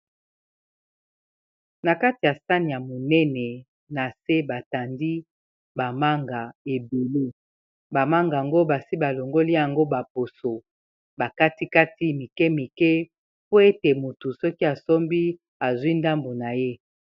Na kati ya sani ya monene na se batandi ba manga ebele ba manga yango basi ba longoli yango ba poso ba katikati mikemike po ete moto soki asombi azwi ndambo na ye.